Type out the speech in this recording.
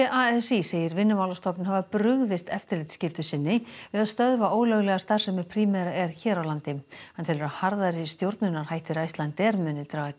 a s í segir Vinnumálastofnun hafa brugðist eftirlitsskyldu sinni við að stöðva ólöglega starfsemi Primera hér á landi hann telur að harðari stjórnunarhættir Icelandair muni draga